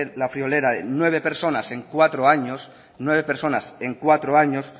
la friolera de nueve personas en cuatro años nueve personas en cuatro años